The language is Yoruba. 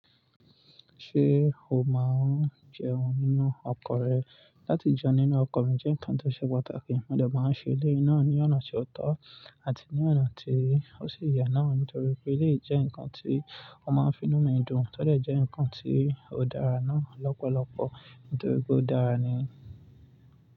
Ṣé o máa ń jẹun nínú ọkọ rẹ? Láti jẹun nínú ọkọ mi jẹ́ nǹkan tó ṣe pàtàkì. Mo dẹ̀ máa ń ṣe èléyìí náà ní ọ̀nà tó tọ́ àti ní ọ̀nà tí ó sì yẹ náà nítorí pé eléyìí jẹ́ nǹkan tí wọ́n máa ń finú mú ìdun. Tọ́dẹ̀ jẹ́ nǹkan tí ó dára náà lọ́pọ̀lọpọ̀ nítorí pé ó dára ni.